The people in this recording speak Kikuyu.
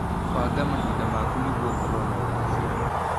Banga mahinda maku nĩguo ũkorwo na ũgacĩru.